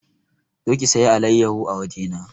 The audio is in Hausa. Zo ki saya alayyaho a waje na!